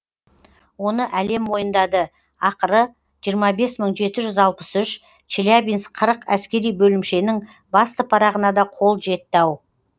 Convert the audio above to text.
оны әлем мойындады ақыры жиырма бес мың жеті жүз алпыс үш челябинск қырық әскери бөлімшенің басты парағына да қол жетті ау